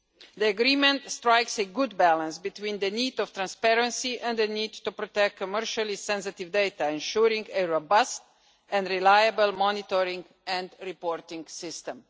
The agreement strikes a good balance between the need for transparency and the need to protect commercially sensitive data, ensuring a robust and reliable monitoring and reporting system.